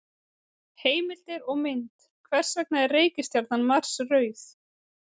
Heimildir og mynd: Hvers vegna er reikistjarnan Mars rauð?